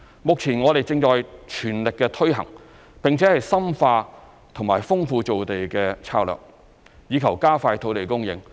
目前我們正全力推行，並且深化及豐富造地策略，以求加快土地供應。